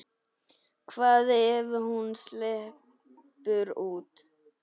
Hvað ef hún sleppur út?